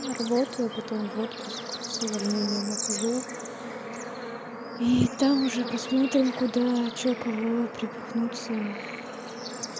работаю потом в отпуск с увольнением ухожу и там уже посмотрим куда что кого приткнуться